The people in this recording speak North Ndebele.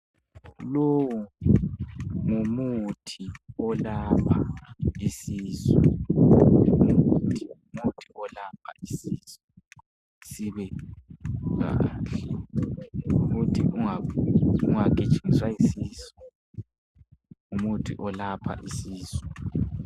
Lowu ngumuthi olapha isis.u umuthi olapha isisu. ukuthi sibe kahle ukuthi ungagijinyiswa yisisu ngumuthi olapha isisu.